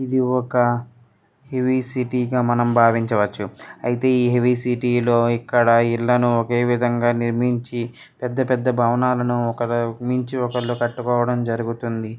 ఇది ఒక heavy city గా మనం భావించవచ్చు అయితే ఈ హెవి సిటీ లో ఇక్కడ ఇళ్లను ఒకేవిధంగా నిర్మించి పెద్ద పెద్ద భవనాలను ఒకరు మించి ఒకరు కట్టుకోవడం జరుగుతుంది.